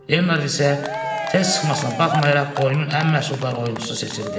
Leonard isə tez çıxmasına baxmayaraq oyunun ən məhsuldar oyunçusu seçildi.